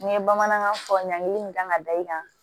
N ye bamanankan fɔ ɲankili kan ka da i kan